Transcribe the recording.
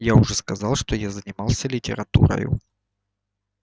я уже сказывал что я занимался литературою